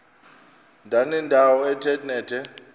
ndanendawo ethe nethe